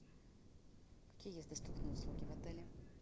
какие есть доступные услуги в отеле